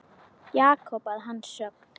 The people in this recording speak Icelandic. Jakob að hans sögn.